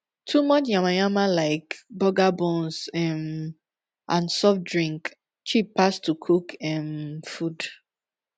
too much yama yama lyk burger buns um and soft drink cheap pass to cook um food